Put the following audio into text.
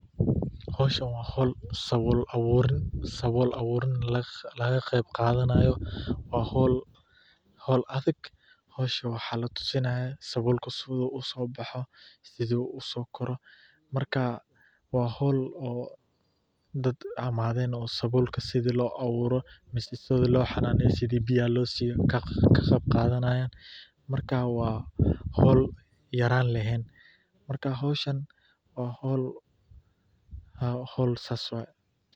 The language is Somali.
Howshan waa howl sabuul abuurin, waa howl adag, waxaa la tusinaaya sida loo abuuro, biyaha loo siiyo, waa howl saas waye.